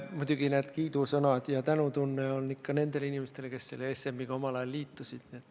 Muidugi kiidusõnad ja tänutunne on ikka nendele inimestele, kes selle ESM-iga omal ajal liitusid.